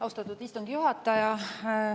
Austatud istungi juhataja!